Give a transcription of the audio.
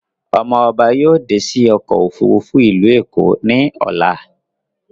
Ọmọ ọba dé sí òkò òfúrùfú ìlú Èkó ní Ọlá